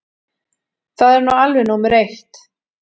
Það er nú alveg númer eitt.